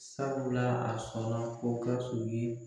Sabula a sɔnna ko Gawusu ye